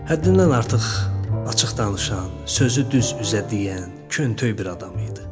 Həddindən artıq açıq danışan, sözü düz üzə deyən, küntöy bir adam idi.